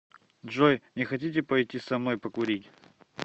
джой не хотите пойти со мной покурить